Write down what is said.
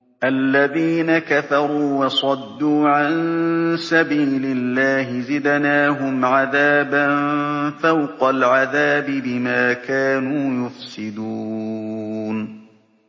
الَّذِينَ كَفَرُوا وَصَدُّوا عَن سَبِيلِ اللَّهِ زِدْنَاهُمْ عَذَابًا فَوْقَ الْعَذَابِ بِمَا كَانُوا يُفْسِدُونَ